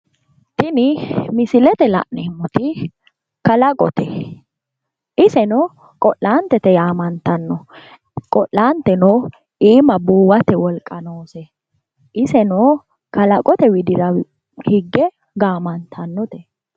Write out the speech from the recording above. Tini misilete la'neemmoti kalaqote iseno qo'laantete yaamantanno qo'laanteno iima buuwate wolqa noose iseno kalaqote widira higge gaamantannote